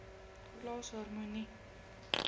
plaas harmonie